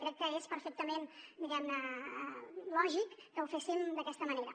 crec que és perfectament lògic que ho féssim d’aquesta manera